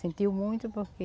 Sentiu muito porque...